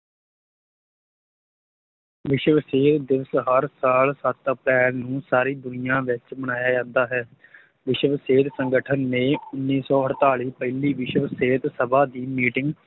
ਵਿਸ਼ਵ ਸਿਹਤ ਦਿਵਸ ਹਰ ਸਾਲ ਸੱਤ ਅਪ੍ਰੈਲ ਨੂੰ ਸਾਰੀ ਦੁਨੀਆ ਵਿੱਚ ਮਨਾਇਆ ਜਾਂਦਾ ਹੈ ਵਿਸ਼ਵ ਸਿਹਤ ਸੰਗਠਨ ਨੇ ਉੱਨੀ ਸੌ ਅੜਤਾਲੀ ਪਹਿਲੀ ਵਿਸ਼ਵ ਸਿਹਤ ਸਭਾ ਦੀ meeting